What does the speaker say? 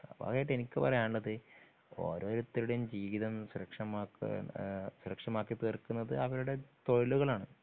അവസാനായിട്ട് എനിക്ക് പറയാനുള്ളത് ഓരോരുത്തരുടെയും ജീവിതം സുരക്ഷമാക്കുക എന്ന സുരക്ഷമാക്കി തീർക്കുന്നത് അവരുടെ തൊഴിലുകളാണ്.